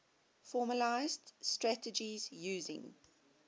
formalised strategies using